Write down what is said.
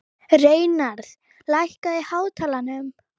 Reynarð, lækkaðu í hátalaranum.